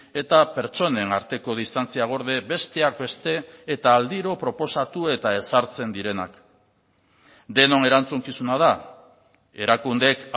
eta pertsonen arteko distantzia gorde besteak beste eta aldiro proposatu eta ezartzen direnak denon erantzukizuna da erakundeek